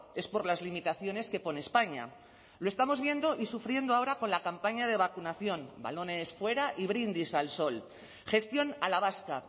es por las limitaciones que pone españa lo estamos viendo y sufriendo ahora con la campaña de vacunación balones fuera y brindis al sol gestión a la vasca